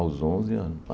Aos onze anos.